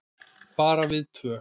Bara við tvö.